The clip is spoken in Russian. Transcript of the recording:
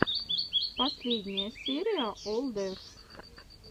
последняя серия олл деф